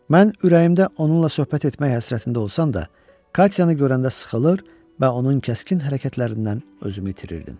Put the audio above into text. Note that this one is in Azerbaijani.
Mən ürəyimdə onunla söhbət etmək həsrətində olsam da, Katyanı görəndə sıxılır və onun kəskin hərəkətlərindən özümü itirirdim.